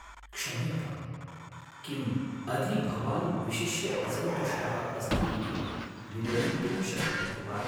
क्ष्यम्यताम्। किम् अधि भवान् विशिष्य असन्तुष्टः अस्ति इति विवरीतुं शक्नोति वा?